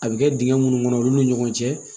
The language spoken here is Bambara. A bɛ kɛ dingɛ minnu kɔnɔ olu ni ɲɔgɔn cɛ